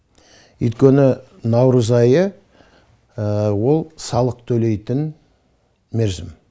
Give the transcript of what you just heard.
өйткені наурыз айы ол салық төлейтін мерзім